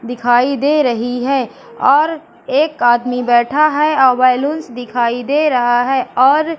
दिखाई दे रही है और एक आदमी बैठा है बैलून्स दिखाई दे रहा है और--